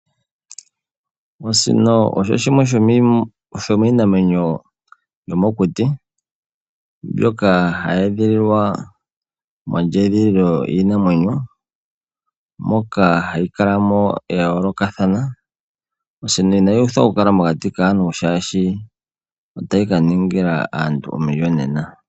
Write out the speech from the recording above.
Osino osho shimwe sho miinamwenyo yomokuti mbyoka hayi edhililwa mondjedhililo yiinamwenyo moka hayi kalamo ya yoolokathana. Osino inayi uthwa oku kala mokati kaantu shashi otayi ka ningila aantu omiyonena.